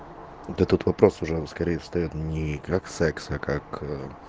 во этот вопрос уже скорее встаёт ни как секс а как